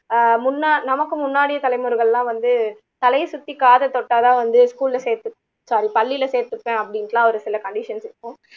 ஆஹ் முன்ன நமக்கு முன்னாடி தலைமுறைகள் எல்லாம் வந்து தலைய சுத்தி காதை தொட்டா தான் வந்து school ல சேத்து பள்ளியில சேத்துப்பேன் அப்படின்னு எல்லாம் ஒரு சில conditions இருக்கும்